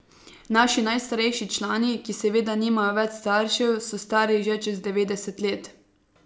Naši najstarejši člani, ki seveda nimajo več staršev, so stari že čez devetdeset let.